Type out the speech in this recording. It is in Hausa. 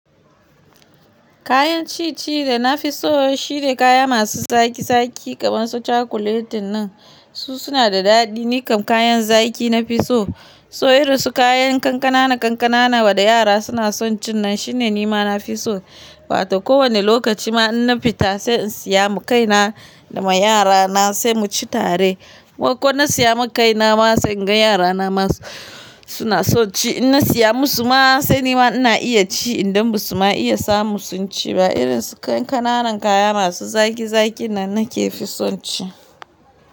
Kayan ciye-ciye da na fi so shine kaya masu zaki-zaki kamar su chocolate nan. Su suna da daɗi. Ni kam kayan zaƙi na fi so. So irin su kayan kankana kankana wanda yara suna son ci nan shine ni ma na fi so. Wato kowane lokaci ma in na fita sai in siya ma kaina da yara na sai mu ci tare. Ko na siya ma kai na ma sai in ga yara na ma suna son ci. In na siya musu ma sai ni ma ina iya ci idan ba su ma iya samu sun ci ba. Irin su kankana kayan masu zaki-zakin nan ne ke son ci.